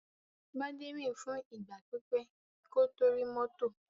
Gbadé rìn fún ìgbà pípẹ́ kó tó rí mọ́tò.